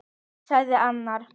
sagði arnar.